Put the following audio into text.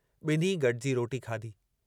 ॿिन्ही गॾिजी रोटी खाधी।